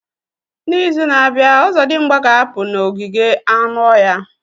N'izu na-abịa, ozodimgba ga-apụ n'ogige anụ ọhịa.